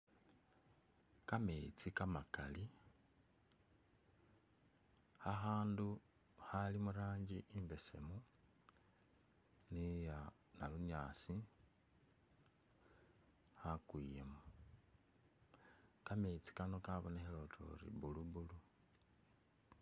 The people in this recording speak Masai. Kametsi kamakali, khakhandu Khali mu ranji imbesemu ni iya nabunyaasi khakwiyemu, kametsi kano kabonekhele utuyori blue blue